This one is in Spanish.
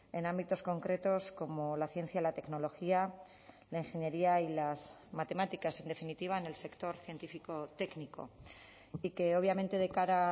en ámbitos concretos como la ciencia la tecnología la ingeniería y las matemáticas en definitiva en el sector científico técnico y que obviamente de cara